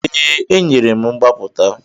Ee, enyere m mgbapụta.